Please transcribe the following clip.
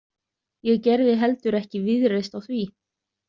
Ég gerði heldur ekki víðreist á því.